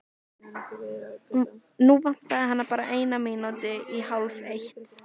Nú vantaði hana bara eina mínútu í hálfeitt.